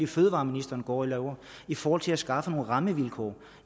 fødevareministeren går og laver i forhold til at skaffe nogle rammevilkår